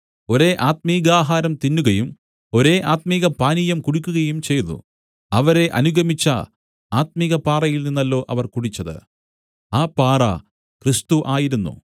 ഒരേ ആത്മികാഹാരം തിന്നുകയും ഒരേ ആത്മികപാനീയം കുടിക്കുകയും ചെയ്തു അവരെ അനുഗമിച്ച ആത്മികപാറയിൽനിന്നല്ലോ അവർ കുടിച്ചത് ആ പാറ ക്രിസ്തു ആയിരുന്നു